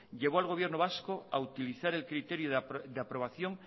llevó al gobierno vasco a utilizar el criterio de aprobación